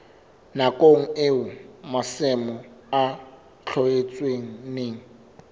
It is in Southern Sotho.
nakong eo masimo a tlohetsweng